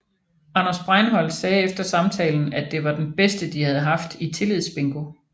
Anders Breinholt sagde efter samtalen at det var den bedste de havde haft i tillidsbingo